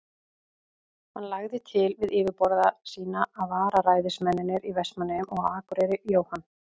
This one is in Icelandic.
Hann lagði til við yfirboðara sína, að vararæðismennirnir í Vestmannaeyjum og á Akureyri, Jóhann